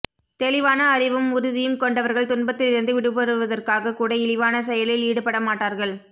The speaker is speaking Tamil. தெளிவான அறிவும் உறுதியும் கொண்டவர்கள் துன்பத்திலிருந்து விடுபடுவதற்காகக்கூட இழிவான செயலில் ஈடுபட மாட்டார்கள்